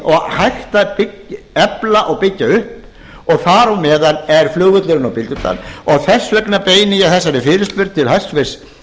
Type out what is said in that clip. og hægt að efla og byggja upp og þar á meðal er flugvöllurinn á bíldudal og þess vegna beini ég þessari fyrirspurn til hæstvirts